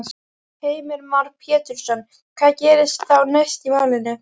Heimir Már Pétursson: Hvað gerist þá næst í málinu?